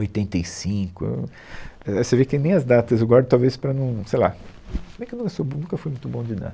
oitenta e cinco, eu, é, Você vê que nem as datas eu guardo talvez para não, sei lá, não é que eu não sou bom, nunca fui muito bom de nada.